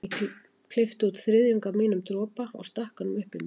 Ég klippti út um þriðjung af mínum dropa og stakk honum upp í mig.